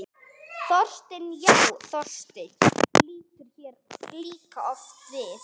Þorsteinn, já, Þorsteinn lítur hér líka oft við.